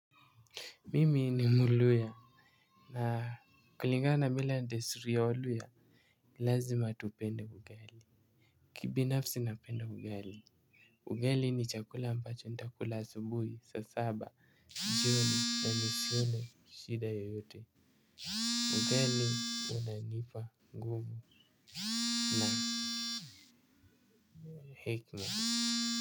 Mimi ni mluhya na kulingana na mila na desturi ya waluhya lazima tupende ugali. Kibinafsi napenda ugali. Ugali ni chakula ambacho nitakula asubuhi saa saba jioni na nisione shida yoyote ugali unanipa nguvu na hekima.